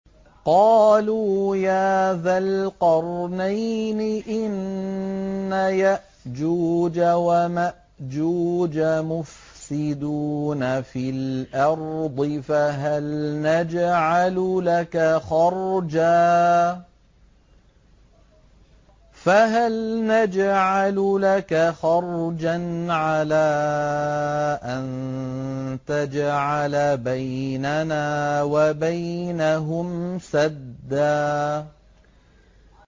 قَالُوا يَا ذَا الْقَرْنَيْنِ إِنَّ يَأْجُوجَ وَمَأْجُوجَ مُفْسِدُونَ فِي الْأَرْضِ فَهَلْ نَجْعَلُ لَكَ خَرْجًا عَلَىٰ أَن تَجْعَلَ بَيْنَنَا وَبَيْنَهُمْ سَدًّا